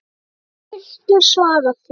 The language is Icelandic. Hvernig viltu svara því?